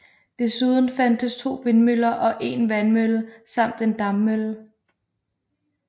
Desuden fandtes 2 vindmøller og 1 vandmølle samt en dampmølle